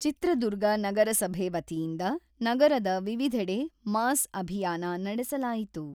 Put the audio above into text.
ಚಿತ್ರದುರ್ಗ ನಗರಸಭೆ ವತಿಯಿಂದ ನಗರದ ವಿವಿಧೆಡೆ ಮಾಸ್ ಅಭಿಯಾನ ನಡೆಸಲಾಯಿತು.